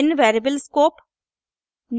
भिन्न variable scope